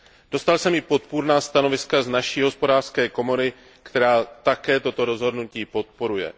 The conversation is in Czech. Dostal jsem i podpůrná stanoviska z naší hospodářské komory, která také toto rozhodnutí podporuje.